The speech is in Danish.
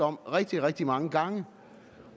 om rigtig rigtig mange gange